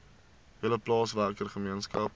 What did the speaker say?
hele plaaswerker gemeenskap